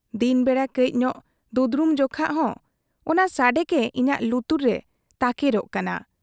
ᱫᱤᱱ ᱵᱮᱲᱟ ᱠᱟᱹᱡᱽ ᱧᱚᱜ ᱫᱩᱫᱽᱲᱩᱢ ᱡᱮᱠᱷᱟ ᱦᱚᱸ ᱚᱱᱟ ᱥᱟᱰᱮ ᱜᱮ ᱤᱧᱟᱜ ᱞᱩᱛᱩᱨ ᱨᱮ ᱛᱟᱠᱮᱨᱚᱜ ᱠᱟᱱᱟ ᱾